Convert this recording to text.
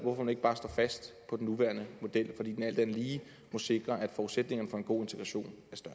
ikke bare står fast på den nuværende model fordi den alt andet lige må sikre at forudsætningerne for en god integration